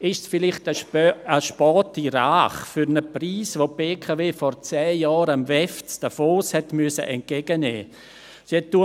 Ist es vielleicht eine späte Rache für einen Preis, den die BKW vor zehn Jahren am WEF entgegennehmen musste?